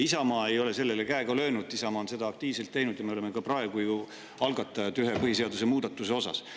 Isamaa ei ole sellele käega löönud, Isamaa on sellega aktiivselt tegelenud ja me oleme ka praegu ühe põhiseaduse muudatuse algatanud.